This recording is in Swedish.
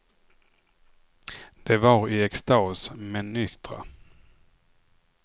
De var i extas, men nyktra.